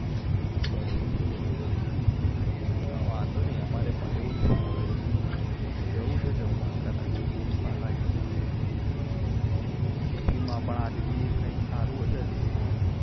બરોબર વાંધો નહિ અમારે પણ જાવું છે જમવા કારણ કે ભૂખ પણ લાગી છે આજે tiffin માં કૈક સારું હશે એમ